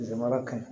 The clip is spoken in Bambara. Zozan mara kaɲi